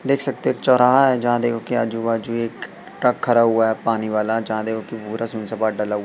देख सकते हो एक चौराहा है जहां देखो की हो आजु-बाजु जो एक ट्रक खड़ा हुआ है पानी वाला जहां देखो कि पूरा सुन सपाट डला हुआ --